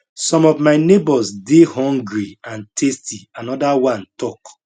some of my neighbours dey hungry and thirsty anoda one tok